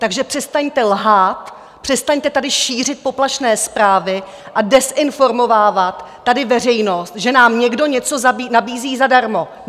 Takže přestaňte lhát, přestaňte tady šířit poplašné zprávy a dezinformovat tady veřejnost, že nám někdo něco nabízí zadarmo.